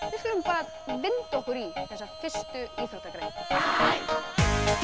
við skulum vinda okkur í þessa fyrstu íþróttagrein til